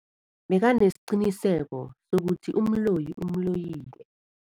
Bekanesiqiniseko sokuthi umloyi umloyile.